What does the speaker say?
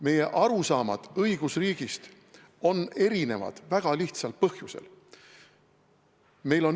Meie arusaamad õigusriigist on erinevad väga lihtsal põhjusel.